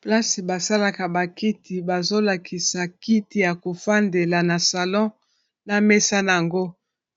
Place basalaka ba kiti bazolakisa kiti ya kofandela na salon na mesa nango